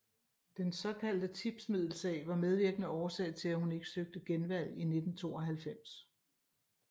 Den såkaldte tipsmiddelsag var medvirkende årsag til at hun ikke søgte genvalg i 1992